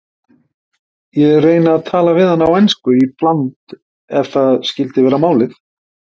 Ég reyni að tala við hana á ensku í bland ef það skyldi vera málið.